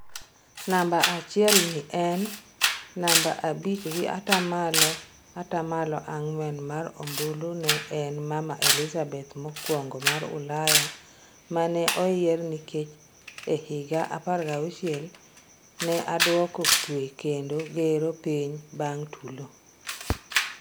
Number achiel ni en… Namba abich gi atamalo atamalo ang'wen mar ombulu ne en Mama Elizabeth mokwongo mar Ulaya mane oyier nikech e higa 16 ne adwoko kwee kendo gero pinje bang tulo